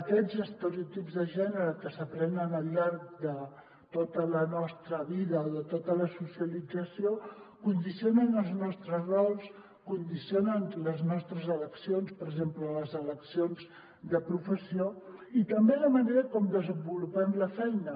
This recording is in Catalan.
aquests estereotips de gènere que s’aprenen al llarg de tota la nostra vida o de tota la socialització condicionen els nostres rols condicionen les nostres eleccions per exemple les eleccions de professió i també la manera com desenvolupem la feina